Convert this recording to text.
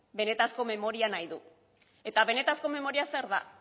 benetako memoria nahi du eta benetako memoria zer da